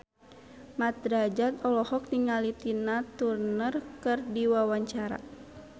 Mat Drajat olohok ningali Tina Turner keur diwawancara